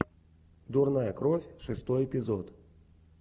дурная кровь шестой эпизод